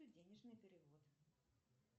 денежный перевод